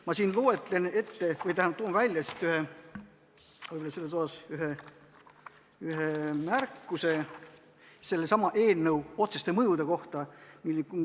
Ma toon siit välja ühe märkuse eelnõu otseste mõjude kohta.